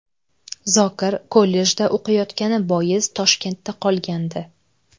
Zokir kollejda o‘qiyotgani bois Toshkentda qolgandi.